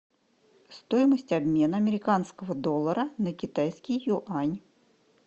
стоимость обмена американского доллара на китайский юань